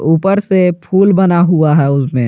ऊपर से फूल बना हुआ है उसमें।